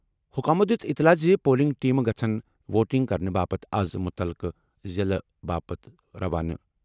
حکامَو دِژ اطلاع زِ پولنگ ٹیمہٕ گژھَن ووٹنگ کرنہٕ باپتھ آز مُتعلقہٕ ضِلعہٕ باپت روانہٕ۔